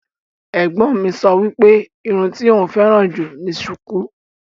Ẹ̀gbọ́n mi sọ wípé irun tí òún féràn jù ni sùkú.